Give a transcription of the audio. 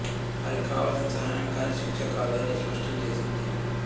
వారికి కావలసింది సహాయం కానీ శిక్ష కాదు అని స్పష్టం చేసింది